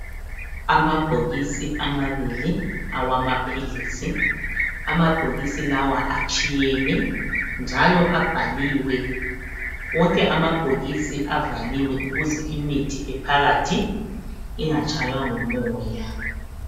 Amabhokisi amabili awamaphilisi. Amabhokisi lawa atshiyene njalo abhaliwe. Wonke amabhokisi avaliwe ukuze imithi ephakathi ingatshaywa ngumoya.